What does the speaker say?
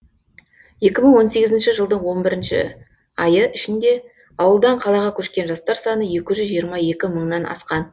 екі мың он сегіізінші жылдың он бірінші айы ішінде ауылдан қалаға көшкен жастар саны екі жүз жиырма екі мыңнан асқан